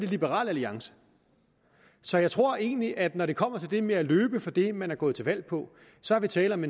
liberal alliance så jeg tror egentlig at når det kommer til det med at løbe fra det man er gået til valg på så er der tale om